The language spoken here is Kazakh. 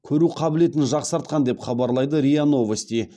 көру қабілетін жақсартқан деп хабарлайды риа новости